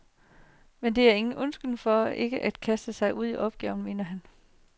Men det er ingen undskyldning for ikke at kaste sig ud i opgaven, mener han.